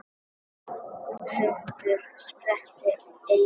Hundur sperrti eyru.